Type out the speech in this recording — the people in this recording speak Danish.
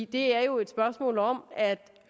det er jo et spørgsmål om at